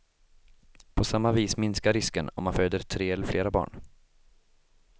På samma vis minskar risken om man föder tre eller flera barn.